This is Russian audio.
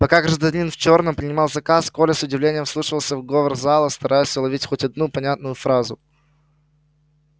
пока гражданин в чёрном принимал заказ коля с удивлением вслушивался в говор зала стараясь уловить хоть одну понятную фразу